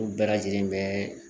Olu bɛɛ lajɛlen bɛ